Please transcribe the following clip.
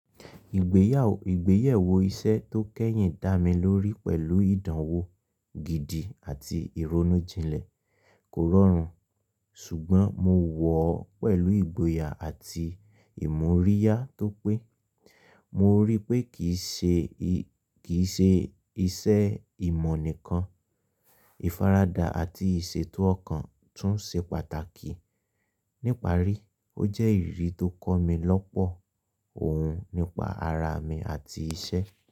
Ìgbéyàwó, ìgbéyẹ̀wò iṣẹ́ tó kẹ́yìn dá mi lórí pẹ̀lú ìdánwò gidi àti ìronújinlẹ̀. Kò rọrùn, ṣùgbọ́n mo wọ̀ ọ́ pẹ̀lú ìgboyà àti ìmoríyá tó pé. Mo ríi pé kìí ṣe, kì í ṣe ìṣe ìmọ̀ nìkan, ìfaradà àti ìṣètò ọkàn tún ṣe pàtàkì. Níparí, ó jẹ́ ìrírí tó kọ́ mi lọ́pọ̀ ohun nípa ara mi àti iṣẹ́.